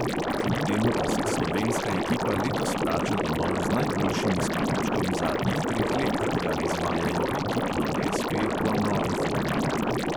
Kljub temu pa se slovenska ekipa letos vrača domov z najboljšim izkupičkom zadnjih treh let, odkar izvajajo ekipno SP po novi formuli.